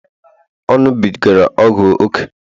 ọ ṅụbigara ọgwụ ókè